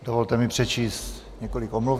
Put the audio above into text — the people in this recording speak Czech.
Dovolte mi přečíst několik omluv.